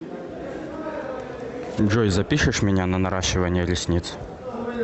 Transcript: джой запишешь меня на наращивание ресниц